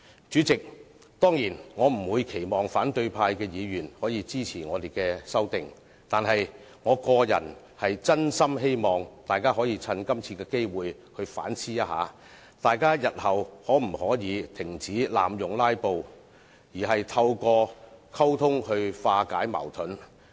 主席，當然，我不期望反對派議員會支持我們的修訂，但我個人真心希望大家藉此機會反思一下，日後可否停止濫用"拉布"而透過溝通來化解矛盾。